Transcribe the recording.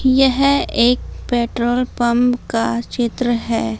यह एक petrol pump का चित्र है।